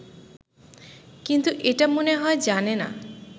কিন্তু এটা মনে হয় জানে না